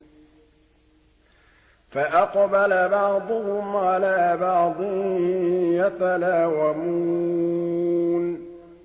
فَأَقْبَلَ بَعْضُهُمْ عَلَىٰ بَعْضٍ يَتَلَاوَمُونَ